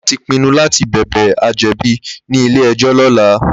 Lagata ti pìnnú làtí bèbè àjèbí ni ilé èjò lòlá